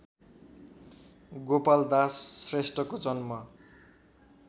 गोपालदास श्रेष्ठको जन्म